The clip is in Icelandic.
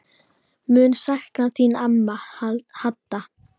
Mun sakna þín amma Hadda.